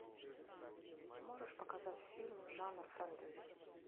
можешь показать фильм жанр фэнтези